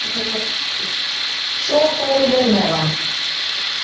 Svo fóru þeir með hann.